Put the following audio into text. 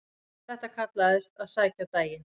Þetta kallaðist að sækja daginn.